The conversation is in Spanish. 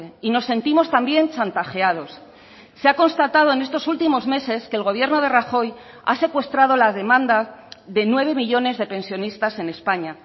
y nos sentimos también chantajeados se ha constatado en estos últimos meses que el gobierno de rajoy ha secuestrado la demanda de nueve millónes de pensionistas en españa